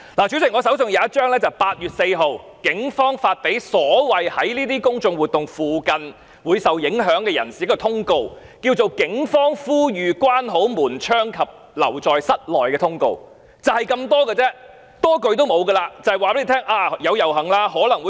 主席，我手上有一張通告，是警方在8月4日發給所謂"在這些公眾活動附近會受影響的人士"的，叫作"警方呼籲關好門窗及留在室內"的通告，內容就是這樣，多一句也沒有。